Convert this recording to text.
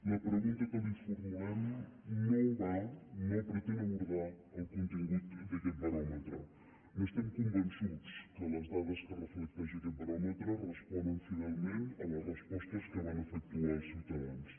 la pregunta que li formulem no va no pretén abordar el contingut d’aquest baròmetre estem convençuts que les dades que reflecteix aquest baròmetre responen fidelment a les respostes que van efectuar els ciutadans